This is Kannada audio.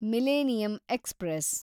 millennium express